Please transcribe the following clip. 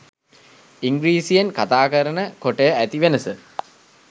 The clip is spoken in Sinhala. ඉංග්‍රීසියෙන් කථාකරන කොටය ඇති වෙනස